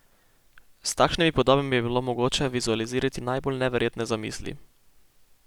S takšnimi podobami je bilo mogoče vizualizirati najbolj neverjetne zamisli.